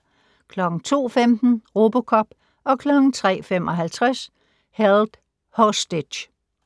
02:15: RoboCop 03:55: Held Hostage